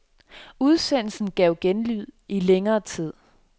Udsendelsen gav genlyd i længere tid.